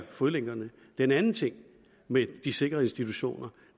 fodlænkerne den anden ting med de sikrede institutioner